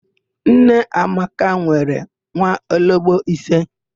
Nneamaka nwere nwaologbo ise.